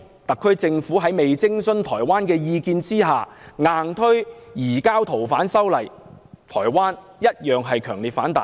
特區政府未有徵詢台灣的意見，就強行修訂《條例》，引起了台灣的強烈反彈。